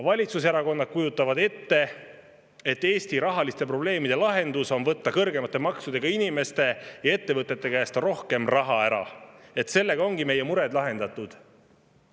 Valitsuserakonnad kujutavad ette, et Eesti rahaprobleemide lahendus on võtta inimeste ja ettevõtete käest kõrgemate maksudega rohkem raha ära, sellega ongi meie mured lahendatud.